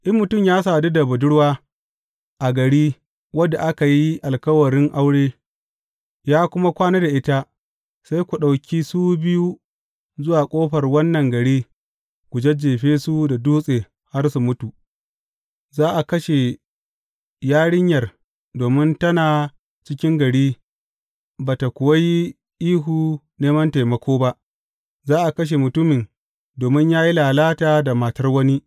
In mutum ya sadu da budurwa a gari wadda aka yi alkawarin aure, ya kuma kwana da ita sai ku ɗauki su biyu zuwa ƙofar wannan gari, ku jajjefe su da dutse har su mutum, za a kashe yarinyar domin tana a cikin gari ba ta kuwa yi ihu neman taimako ba, za a kashe mutumin domin ya yi lalata da matar wani.